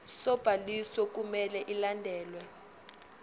sobhaliso kumele ilandelwe